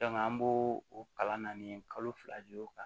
an b'o o kalan naani kalo fila o kan